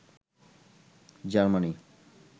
Germany